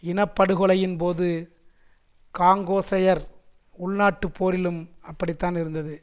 இன படுகொலையின் போது காங்கோசையர் உள்நாட்டுப் போரிலும் அப்படித்தான் இருந்தது